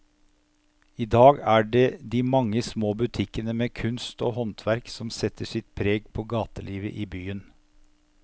I dag er det de mange små butikkene med kunst og håndverk som setter sitt preg på gatelivet i byen.